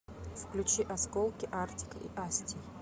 включи осколки артик и асти